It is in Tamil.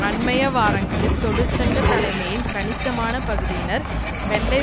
அண்மைய வாரங்களில் தொழிற்சங்க தலைமையின் கணிசமான பகுதியினர் வெள்ளை